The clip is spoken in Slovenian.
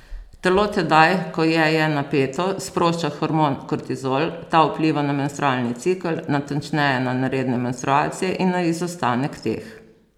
Telo tedaj, ko je je napeto, sprošča hormon kortizol, ta vpliva na menstrualni cikel, natančneje na neredne menstruacije in na izostanek teh.